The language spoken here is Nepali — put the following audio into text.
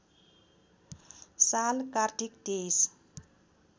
साल कार्तिक २३